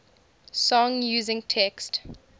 song using text